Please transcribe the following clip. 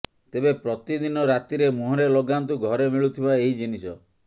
ତେବେ ପ୍ରତି ଦିନ ରାତିରେ ମୁହଁରେ ଲଗାନ୍ତୁ ଘରେ ମିଳୁଥିବା ଏହି ଜିନିଷ